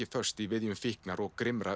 föst í viðjum fíknar og